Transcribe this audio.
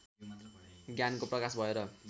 ज्ञानको प्रकाश भएर